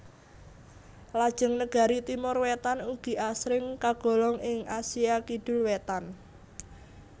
Lajeng negari Timor Wétan ugi asring kagolong ing Asia Kidul Wétan